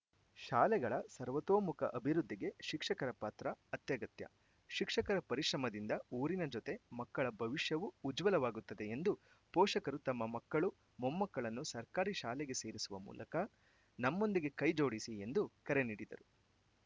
ಶಾಲೆಗಳ ಸರ್ವತೋಮುಖ ಅಭಿವೃದ್ಧಿಗೆ ಶಿಕ್ಷಕರ ಪಾತ್ರ ಅತ್ಯಗತ್ಯ ಶಿಕ್ಷಕರ ಪರಿಶ್ರಮದಿಂದ ಊರಿನ ಜೊತೆ ಮಕ್ಕಳ ಭವಿಷ್ಯವೂ ಉಜ್ವಲವಾಗುತ್ತದೆ ಎಂದು ಪೋಷಕರು ತಮ್ಮ ಮಕ್ಕಳು ಮೊಮ್ಮಕ್ಕಳನ್ನು ಸರ್ಕಾರಿ ಶಾಲೆಗೆ ಸೇರಿಸುವ ಮೂಲಕ ನಮ್ಮೊಂದಿಗೆ ಕೈಜೋಡಿಸಿ ಎಂದು ಕರೆ ನೀಡಿದರು